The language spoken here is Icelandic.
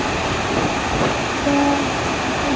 Svo er ekki hér.